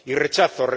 y rechazo.